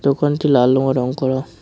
দোকানটি লাল রঙে রঙ করা।